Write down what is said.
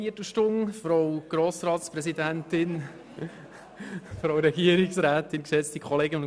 Vielen Dank, wir haben noch eine Viertelstunde Zeit .